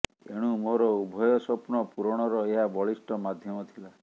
ଏଣୁ ମୋର ଉଭୟ ସ୍ୱପ୍ନ ପୂରଣର ଏହା ବଳିଷ୍ଠ ମାଧ୍ୟମ ଥିଲା